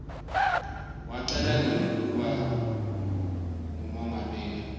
wacala nini kuba ngumongameli